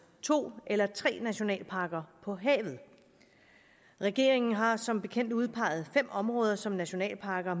to eller tre nationalparker på havet regeringen har som bekendt udpeget fem områder som nationalparker